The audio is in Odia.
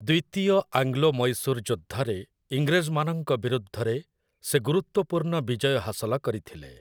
ଦ୍ୱିତୀୟ ଆଙ୍ଗ୍ଲୋ ମହୀଶୂର୍ ଯୁଦ୍ଧରେ ଇଂରେଜମାନଙ୍କ ବିରୁଦ୍ଧରେ ସେ ଗୁରୁତ୍ୱପୂର୍ଣ୍ଣ ବିଜୟ ହାସଲ କରିଥିଲେ ।